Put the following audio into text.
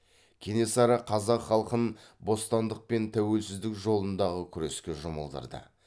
кенесары қазақ халқын бостандық пен тәуелсіздік жолындағы күреске жұмылдырды